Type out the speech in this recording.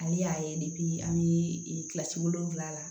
Ale y'a ye an bɛ kilasi wolonwula la